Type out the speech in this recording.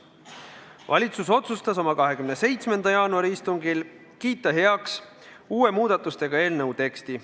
Valitsus otsustas oma 27. jaanuari istungil kiita heaks eelnõu uue, muudatustega teksti.